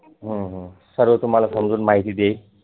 सर्व तुम्हाला समजुन माहिती देईल